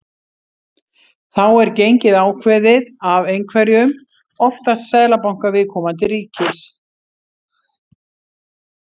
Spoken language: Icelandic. Þá er gengið ákveðið af einhverjum, oftast seðlabanka viðkomandi ríkis.